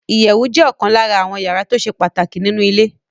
Ìyẹ̀wù jẹ́ ọ̀kan lára àwọ́n yàrá tó ṣe pàtàkì nínu ilé